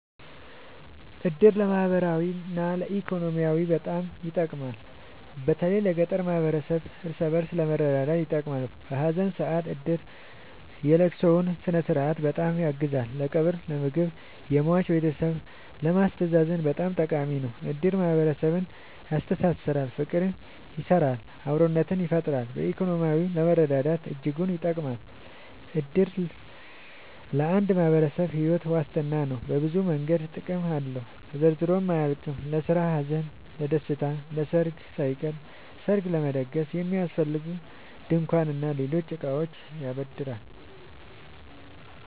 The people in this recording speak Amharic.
እድር ለማህበራዊ እና ኢኮኖሚያዊ በጣም ይጠቅማል። በተለይ ለገጠር ማህበረሰብ እርስ በእርስ ለመረዳዳት ይጠቅማል። በሀዘን ሰአት እድር የለቅሶውን ስነስርዓት በጣም ያግዛል ለቀብር ለምግብ የሟች ቤተሰብን ለማስተዛዘን በጣም ጠቃሚ ነው። እድር ማህረሰብን ያስተሳስራል። ፍቅር ይሰራል አብሮነትን ይፈጥራል። በኢኮኖሚም ለመረዳዳት እጅጉን ይጠብማል። እድር ለአንድ ማህበረሰብ ሒወት ዋስትና ነው። በብዙ መንገድ ጥቅም አለው ተዘርዝሮ አያልቅም። ለስራ ለሀዘን ለደሰታ። ለሰርግ ሳይቀር ሰርግ ለመደገስ የሚያስፈልጉ ድንኳን እና ሌሎች እቃዎችን ያበድራል